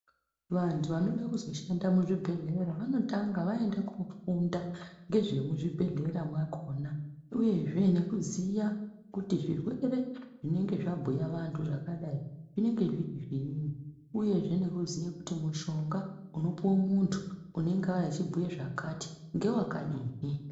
Vantu vanoda kuzoshanda muzvibhedhlera vanotanga vaenda kofunda ngezvemuzvibhedhlera mwakona uyezve nekuziya kuti zvirwere zvinenge zvabhuya vantu zvakadai zvinenge zviri zviini, uyezve nekuziya kuti mushonga unopuwe muntu unenge auya achibhuya zvakati ngewakadini.